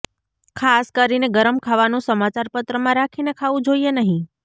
ખાસ કરીને ગરમ ખાવાનું સમાચાર પત્રમાં રાખીને ખાવું જોઈએ નહીં